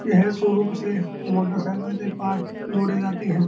यह शोरूम से मोटरसाइकिल से पार्ट जोड़े जाते हैं।